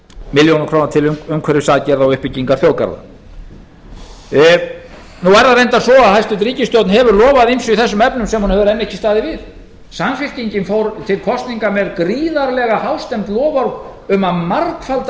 milljónir króna til umhverfisaðgerða og uppbyggingu þjóðgarða nú er það reyndar svo að hæstvirt ríkisstjórn hefur lofað ýmsu í þessum efnum sem hún hefur enn ekki staðið við samfylkingin fór til kosninga með gríðarlega hástemmd loforð um að margfalda